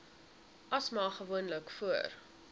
asma gewoonlik voor